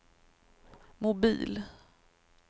mobil